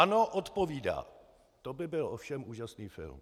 ANO odpovídá: To by byl ovšem úžasný film.